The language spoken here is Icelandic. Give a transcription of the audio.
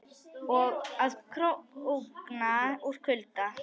Og að krókna úr kulda.